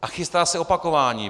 A chystá se opakování.